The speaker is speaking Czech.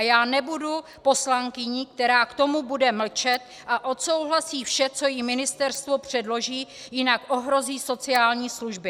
A já nebudu poslankyní, která k tomu bude mlčet a odsouhlasí vše, co jí ministerstvo předloží, jinak ohrozí sociální služby.